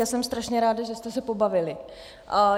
Já jsem strašně ráda, že jste se pobavili.